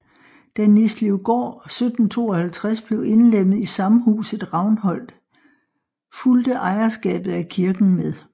Da Nislevgård 1752 blev indlemmet i samhuset Ravnholt fulgte ejerskabet af kirken med